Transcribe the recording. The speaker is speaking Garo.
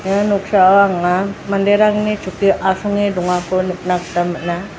ia noksao anga manderangni chukkio asonge dongako nikna gita man·a.